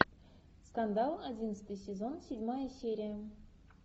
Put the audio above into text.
скандал одиннадцатый сезон седьмая серия